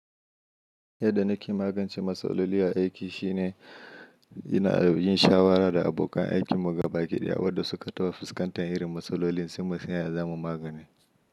Yadda na ke magance matsaloli a aiki shine ina yin shawara da abokan aikin mu gaba ki ɗaya wadda suka taɓa fuskantar irin matsalolin sai mu san ya zamu magani.